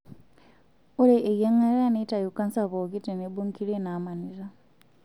Ore eyiangata neitayu kansa pookin tenebo nkiri naamanita.